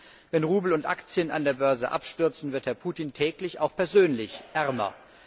Erstens Wenn Rubel und Aktien an der Börse abstürzen, wird Herr Putin täglich auch persönlich ärmer.